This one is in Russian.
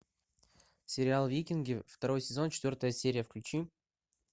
сериал викинги второй сезон четвертая серия включи